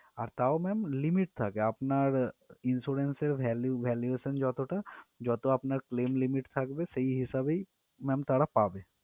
আর তাও ma'am limit থাকে আপনার insurance এর value valuation যতটা যত আপনার claim limit থাকবে সেই হিসেবেই ma'am তারা পাবে।